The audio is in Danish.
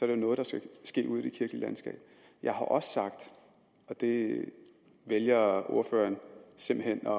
det noget der skal ske ude i det kirkelige landskab jeg har også sagt og det vælger ordføreren simpelt hen